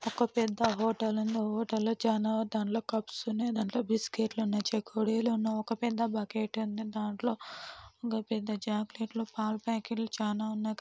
ఓ పెద్ద హోటల్ ఉంది. అందులో ఆ హోటల్ లో చానా తాన్లో కప్స్ ఉన్నాయి దాంట్లో బిస్కట్లు ఉన్నాయి చేకోడిలు ఉన్నాయి ఒక పెద్ద బకెట్ ఉంది దాంట్లో ఒక పెద్ద చై పాకెట్లు పల పాకెట్లు చానా ఉన్నాయి.